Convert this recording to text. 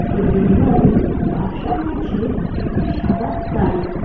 Building বাড়ির পাশে রয়েছে একটি সাদা গাড়ি।